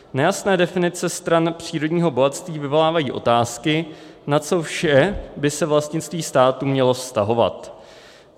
Nejasné definice stran přírodního bohatství vyvolávají otázky, na co vše by se vlastnictví státu mělo vztahovat.